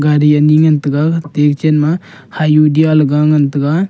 gari ani ngan tega techen ma hyundai le ga ngan taga.